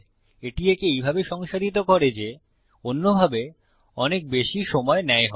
এটি একে এইভাবে সংসাধিত করে যে অন্যভাবে অনেক বেশি সময় নেয় হবে